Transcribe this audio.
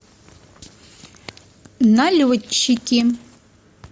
налетчики